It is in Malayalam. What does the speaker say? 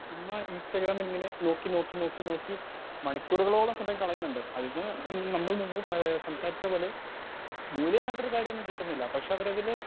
ഇന്ന് ഇൻസ്റ്റഗ്രാം ഇങ്ങനെ നോക്കി നോക്കി നോക്കി മണികൂറോളം സമയം കളയുന്നുണ്ട് അതിന്ന് പ്പോ നമ്മൾ മുമ്പ് എഹ് സംസാരിച്ച പോലെ മൂല്യമായിട്ടൊരു കാര്യമൊന്നും കിട്ടുന്നില്ല പക്ഷെ അവരതിൽ